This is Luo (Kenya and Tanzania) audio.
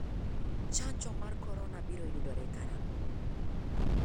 chanjo mar korona biro yudore karang'o?